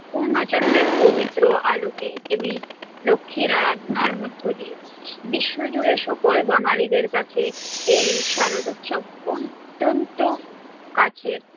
পূণ্য চন্দ্রের পবিত্র আলোকে দেবী লক্ষ্মীর আরাধনার মধ্য দিয়ে, বিশ্বজুড়ে সকল বাঙ্গালীদের কাছে এই শারোদৎসব অত্যন্ত কাছের।